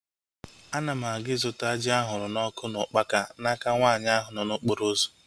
Ana m aga ịzụta ji ahụrụ n'ọkụ na ukpaka n'aka nwaanyị ahụ nọ n'okporo ụzọ